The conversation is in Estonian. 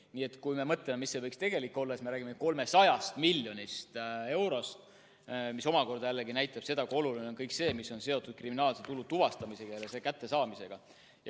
Nii et kui me mõtleme, mis see võiks tegelikult olla, siis me räägime 300 miljonist eurost, mis omakorda jällegi näitab seda, kui oluline on kõik see, mis on seotud kriminaalse tulu tuvastamisega ja selle kättesaamisega.